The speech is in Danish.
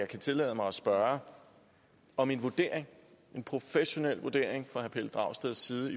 kan tillade mig at spørge om en vurdering en professionel vurdering herre pelle dragsteds side